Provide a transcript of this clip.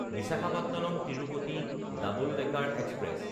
বিশাখাপট্টনম–তিৰুপতি double decker express